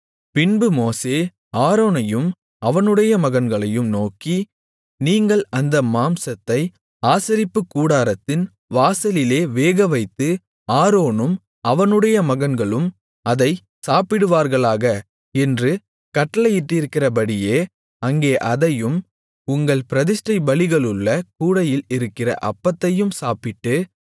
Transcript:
பின்பு மோசே ஆரோனையும் அவனுடைய மகன்களையும் நோக்கி நீங்கள் அந்த மாம்சத்தை ஆசரிப்புக்கூடாரத்தின் வாசலிலே வேகவைத்து ஆரோனும் அவனுடைய மகன்களும் அதைச் சாப்பிடுவார்களாக என்று கட்டளையிட்டிருக்கிறபடியே அங்கே அதையும் உங்கள் பிரதிஷ்டைப் பலிகளுள்ள கூடையில் இருக்கிற அப்பத்தையும் சாப்பிட்டு